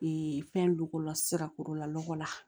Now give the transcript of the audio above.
fɛn dogolo sira kɔrɔla lɔgɔ la